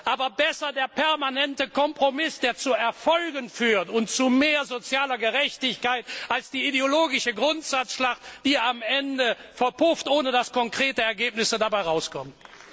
Aber besser der permanente Kompromiss, der zu Erfolgen und zu mehr sozialer Gerechtigkeit führt, als eine ideologische Grundsatzschlacht, die am Ende verpufft, ohne dass konkrete Ergebnisse dabei herauskommen.